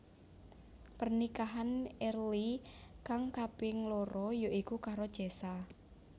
Pernikahan Early kang kaping loro ya iku karo Cesa